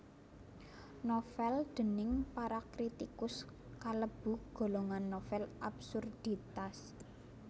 Novèl déning para kritikus kalebu golongan novèl absurditas